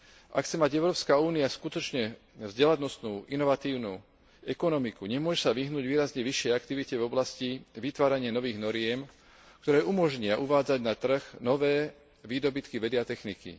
Ak chce mať Európska únia skutočne vzdelanostnú, inovatívnu ekonomiku, nemôže sa vyhnúť výrazne vyššej aktivite v oblasti vytvárania nových noriem, ktoré umožnia uvádzať na trh nové výdobytky vedy a techniky.